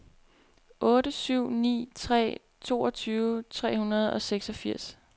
otte syv ni tre toogtyve tre hundrede og seksogfirs